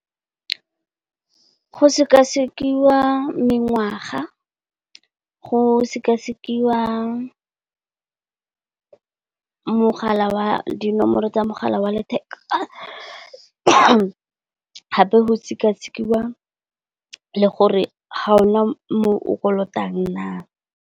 Go sekasekiwa mengwaga, go sekasekiwa mogala wa dinomoro tsa mogala wa letheka, gape go sekasekiwa le gore ga ona mo o kolotang na.